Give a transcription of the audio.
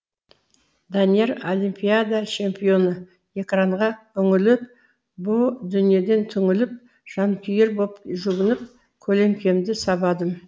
данияр олимпиада чемпионы экранға үңіліп бұ дүниеден түңіліп жанкүйер боп жүгініп көлеңкемді сабадым